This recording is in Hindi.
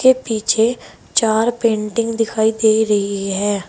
के पीछे चार पेंटिंग दिखाई दे रही है।